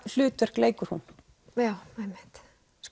hlutverk leikur hún já einmitt